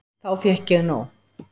Þá fékk ég nóg.